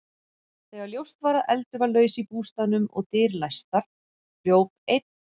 Þegar ljóst var að eldur var laus í bústaðnum og dyr læstar, hljóp einn